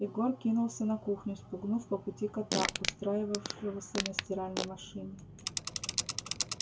егор кинулся на кухню спугнув по пути кота устраивавшегося на стиральной машине